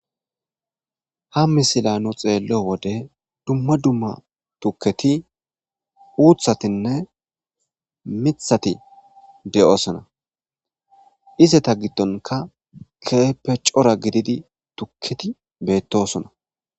Ha misila nu xeello wode dumma dumma tukketi uuthatinne mithati de'oosona izeta giddonka keeppe cora gididi tukketi beettosona.